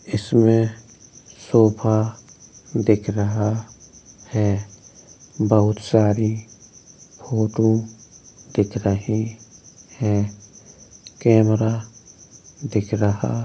इसमें सोफा दिख रहा है। बहुत सारी फोटो दिख रहे हैं। कैमरा दिख रहा --